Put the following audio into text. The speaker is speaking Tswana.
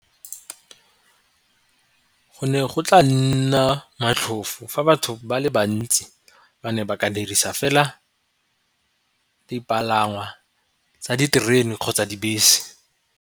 Go ne go tla nna motlhofo fa batho ba le bantsi ba ne ba ka dirisa fela dipalangwa tsa diterene kgotsa dibese.